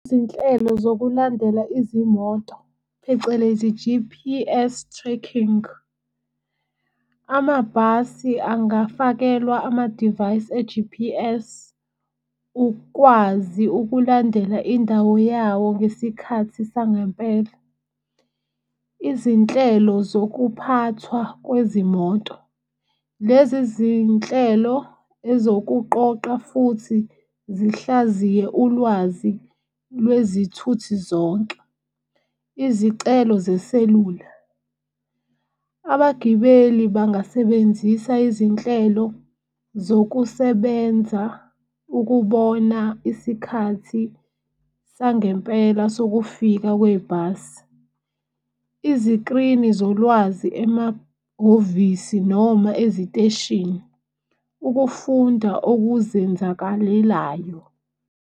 Izinhlelo zokulandela izimoto phecelezi G_P_S tracking. Amabhasi angafakelwa ama-device e-G_P_S ukwazi ukulandela indawo yawo ngesikhathi sangempela. Izinhlelo zokuphathwa kwezimoto lezi zinhlelo ezokuqoqa futhi zihlaziye ulwazi lwezithuthi zonke. Izicelo zeselula, abagibeli bangasebenzisa izinhlelo zokusebenza ukubona isikhathi sangempela sokufika kwebhasi. Izikrini zolwazi emahhovisi noma eziteshini, ukufunda okuzenzakalelayo.